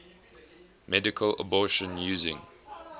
medical abortion using